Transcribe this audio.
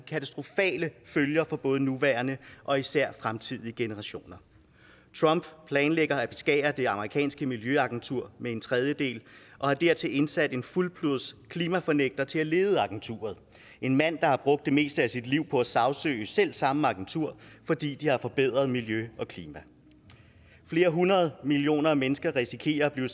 katastrofale følger for både nuværende og især fremtidige generationer trump planlægger at beskære det amerikanske miljøagentur med en tredjedel og har dertil indsat en fuldblods klimafornægter til at lede agenturet det en mand der har brugt det meste af sit liv på at sagsøge selv samme agentur fordi de har forbedret miljø og klima flere hundrede millioner mennesker risikerer at blive